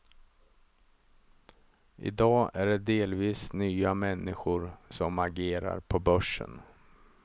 I dag är det delvis nya människor som agerar på börsen.